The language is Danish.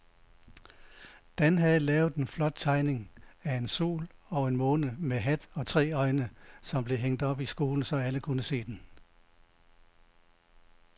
Dan havde lavet en flot tegning af en sol og en måne med hat og tre øjne, som blev hængt op i skolen, så alle kunne se den.